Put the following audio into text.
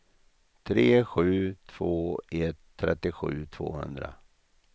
tre sju två ett trettiosju tvåhundra